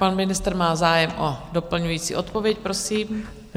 Pan ministr má zájem o doplňující odpověď, prosím.